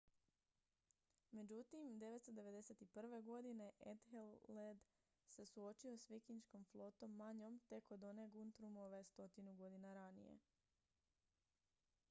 međutim 991. godine ethelred se suočio s vikinškom flotom manjom tek od one guthrumove stotinu godina ranije